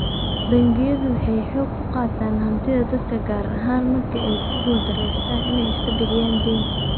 Bangiyadu waxay xoog kuqaataan hantida dadka gaar ahaan marka ayku guul daraysteen inay iska bixiyaan daynta.